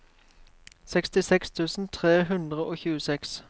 sekstiseks tusen tre hundre og tjueseks